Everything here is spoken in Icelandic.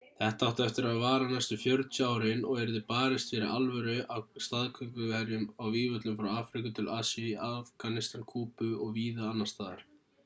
þetta átti eftir að vara næstu 40 árin og yrði barist fyrir alvöru af staðgönguherjum á vígvöllum frá afríku til asíu í afganistan kúbu og víða annars staðar